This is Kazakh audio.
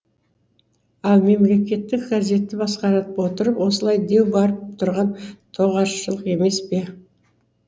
ал мемлекеттік газетті басқарып отырып осылай деу барып тұрған тоғашырлық емес пе